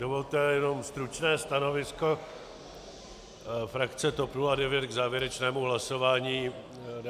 Dovolte jenom stručné stanovisko frakce TOP 09 k závěrečnému hlasování.